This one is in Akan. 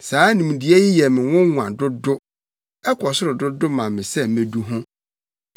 Saa nimdeɛ yi yɛ me nwonwa dodo, ɛkɔ soro dodo ma me sɛ medu ho.